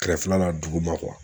Kɛrɛfɛla la duguma